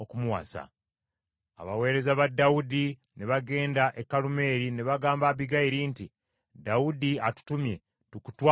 Abaweereza ba Dawudi ne bagenda e Kalumeeri ne bagamba Abbigayiri nti, “Dawudi atutumye tukutwale omufumbirwe.”